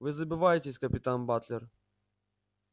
вы забываетесь капитан батлер